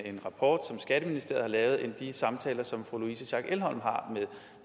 en rapport som skatteministeriet har lavet end i de samtaler som fru louise schack elholm har med